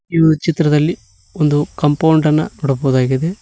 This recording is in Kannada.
ಈ ಒಂದು ಚಿತ್ರದಲ್ಲಿ ಒಂದು ಕಾಂಪೌಂಡ ನ ನೋಡಬಹುದಾಗಿದೆ.